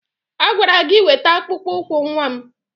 A gwara gi weta akpụkpọ ụkwụ nwa m!